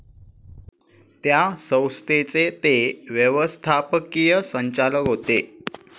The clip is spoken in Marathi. त्या संस्थेचे ते व्यवस्थापकीय संचालक होते.